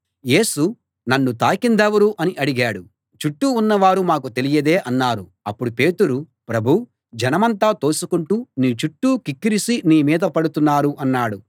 యేసు నన్ను తాకిందెవరు అని అడిగాడు చుట్టూ ఉన్నవారు మాకు తెలియదే అన్నారు అప్పుడు పేతురు ప్రభూ జనమంతా తోసుకుంటూ నీ చుట్టూ క్రిక్కిరిసి నీమీద పడుతున్నారు అన్నాడు